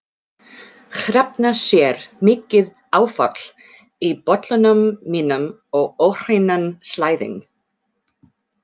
Hrefna sér mikið áfall í bollanum mínum og óhreinan slæðing.